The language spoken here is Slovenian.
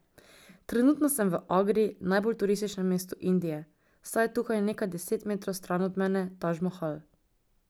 Trenutno sem v Agri, najbolj turističnem mestu Indije, saj je tukaj, nekaj deset metrov stran od mene, Taj Mahal.